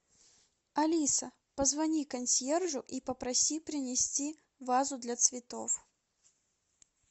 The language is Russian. алиса позвони консьержу и попроси принести вазу для цветов